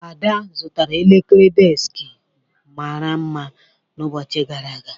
Ada zụtara elekere deskị mara mma n'ụbọchị gara aga.